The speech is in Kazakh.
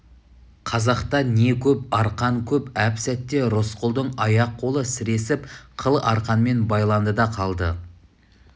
қазақта не көп арқан көп әп-сәтте рысқұлдың аяқ-қолы сіресіп қыл арқанмен байланды да қалды